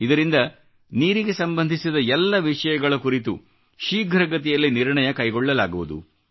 ಇದರಿಂದ ನೀರಿಗೆ ಸಂಬಂಧಿಸಿದ ಎಲ್ಲ ವಿಷಯಗಳ ಕುರಿತು ಶೀಘ್ರಗತಿಯಲ್ಲಿ ನಿರ್ಣಯ ಕೈಗೊಳ್ಳಲಾಗುವುದು